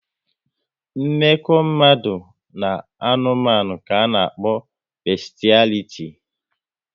Mmekọ mmadụ na anụmanụ ka a na-akpọ beshialiti